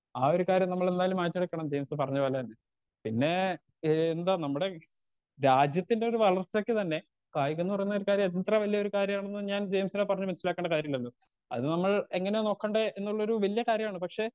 Speaker 2 ആ ഒരു കാര്യം നമ്മളെന്തായാലും മാറ്റിയെടുക്കണം ജെയിംസ് പറഞ്ഞ പോലെ തന്നെ പിന്നേ ഏ എന്താ നമ്മടെ രാജ്യത്തിൻറെ ഒരു വളർച്ചക്ക് തന്നെ കായികംന്ന് പറയുന്നൊരു കാര്യം എത്ര വല്ല്യൊരു കാര്യാണെന്ന് ഞാൻ ജെയിംസിനെ പറഞ്ഞ് മനസ്സിലാക്കണ്ട കാര്യല്ലല്ലൊ അത് നമ്മൾ എങ്ങനെ നോക്കണ്ടേ എന്നുള്ളൊരു വല്ല്യ കാര്യാണ് പക്ഷെ.